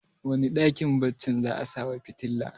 wane dakin baccin za a sawa fitila